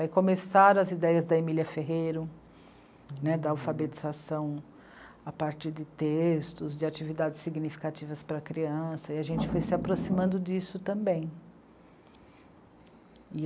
Aí começaram as ideias da Emília Ferreiro, né, da alfabetização a partir de textos, de atividades significativas para a criança, e a gente foi se aproximando disso também.